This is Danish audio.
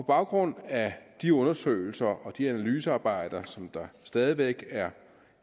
baggrund af de undersøgelser og de analysearbejder som stadig væk er